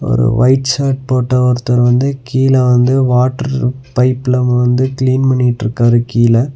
ஒரு white shirt போட்ட ஒருத்தர் வந்து கீழ வந்து வாட்டர் பைப்ல வந்து கிளீன் பண்ணிட்ருக்காரு கீழ.